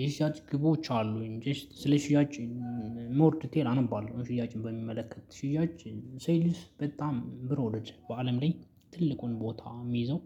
የሽያጭ ግቦች አሉኝ ጀስት ስለ ሽያጭ ሞር ዲቴል አነባለሁ ሽያጭን በሚመለከት ሽያጭ ሴልስ በጣም ብር ወርድ በአለም ላይ ትልቁን ቦታ ሚይዘው